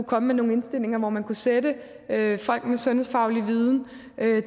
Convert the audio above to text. komme med nogle indstillinger man kunne sætte folk med sundhedsfaglig viden